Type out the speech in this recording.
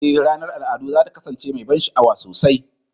Ee, ranar al'adu za ta kasance mai ban sha'awa sosai.